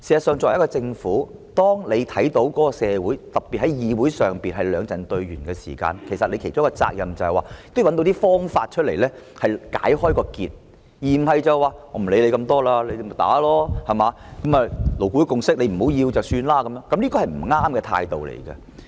作為一個政府，當看到社會上兩陣對圓時，其中一個責任便是找出一些方法，把結解開，而不是說不管那麼多，就讓大家爭拗，如果大家不要勞顧會的共識便作罷，這是不正確的態度。